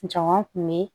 Jama kun be yen